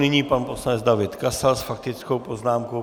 Nyní pan poslanec David Kasal s faktickou poznámkou.